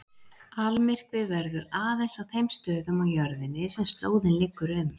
Almyrkvi verður aðeins á þeim stöðum á jörðinni sem slóðin liggur um.